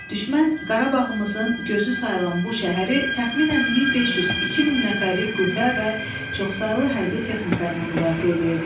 Düşmən Qarabağımızın gözü sayılan bu şəhəri təxminən 1500-2000 nəfərlik qüvvə və çoxsaylı hərbi texnika ilə müdafiə eləyirdi.